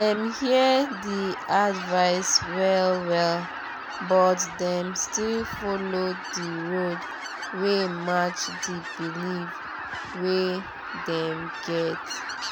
dem hear di advice well-well but dem still follow di road wey match di belief wey dem get.